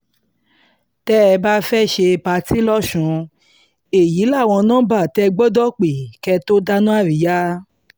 tẹ́ ẹ bá fẹ́ẹ́ ṣe pátì lọ́sùn èyí láwọn nọmba tẹ́ ẹ gbọ́dọ̀ pé kẹ́ ẹ tóó dáná àríyá